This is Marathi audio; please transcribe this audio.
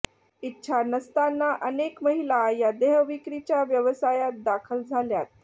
इच्छा नसताना अनेत महिला या देहविक्रीच्या व्यवसायात दाखल झाल्यात